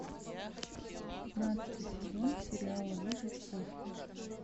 пятнадцатый сезон сериала выжить после